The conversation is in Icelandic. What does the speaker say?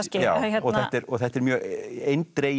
þetta er þetta er mjög eindregin